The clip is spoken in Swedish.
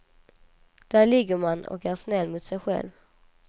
Där ligger man och är snäll mot sig själv.